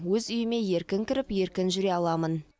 өз үйіме еркін кіріп еркін жүре аламын